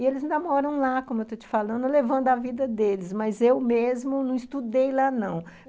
E eles ainda moram lá, como eu estou te falando, levando a vida deles, mas eu mesma não estudei lá, não.